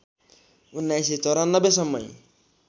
१९९४ सम्मै